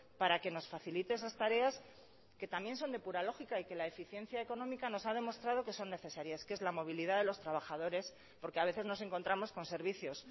para que nos facilite esas tareas que también son de pura lógica y que la eficiencia económica nos ha demostrado que son necesarias que es la movilidad de los trabajadores porque a veces nos encontramos con servicios